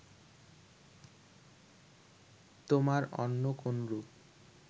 তোমার অন্য কোনরূপ